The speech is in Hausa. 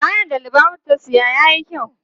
Kayan da Lubabatu ta siya yayi kyau.